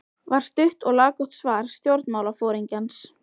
var stutt og laggott svar stjórnmálaforingjans.